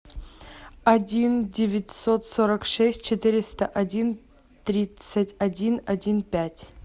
один девятьсот сорок шесть четыреста один тридцать один один пять